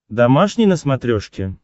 домашний на смотрешке